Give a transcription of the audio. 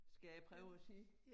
Skal jeg prøve at sige